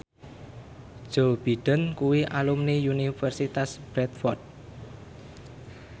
Joe Biden kuwi alumni Universitas Bradford